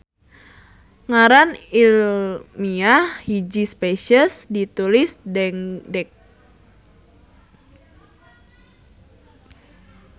Ngaran ilmiah hiji spesies ditulis dengdek.